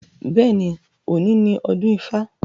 Bẹ́ẹ̀ni, òní ni ọdún ifá.